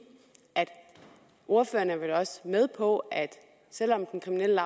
at ordføreren vel også er med på at selv om den kriminelle